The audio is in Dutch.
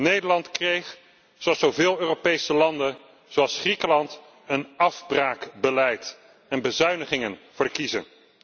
Nederland kreeg, zoals zo veel Europese landen, zoals Griekenland, een afbraakbeleid en bezuinigingen voor de kiezen.